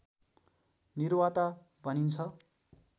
निवार्ता भनिन्छ